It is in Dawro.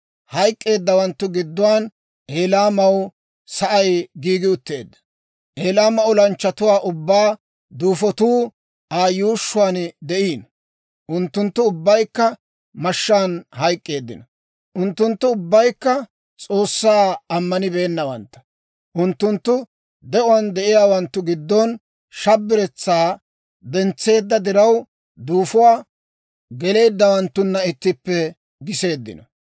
Hayk'k'eeddawanttu gidduwaan Elaamaw sa'ay giigi utteedda. Elaama olanchchatuwaa ubbaa duufotuu Aa yuushshuwaan de'iino; unttunttu ubbaykka mashshaan hayk'k'eeddino. Unttunttu ubbaykka S'oossaa ammanibeennawantta. Unttunttu de'uwaan de'iyaawanttu gidon shabiretsaa dentseedda diraw duufuwaa geleeddawanttuna ittippe giseeddino.